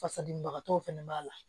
Fasadimibagatɔw fɛnɛ b'a la